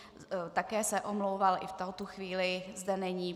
Také se omlouval, i v tuto chvíli zde není.